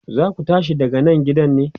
zaku tashi daga Nan gidan ne?